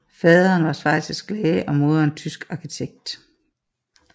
Faderen var schweizisk læge og moderen tysk arkitekt